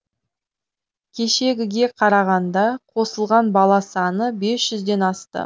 кешегіге қарағанда қосылған бала саны бес жүзден асты